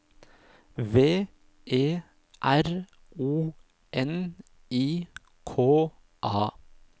V E R O N I K A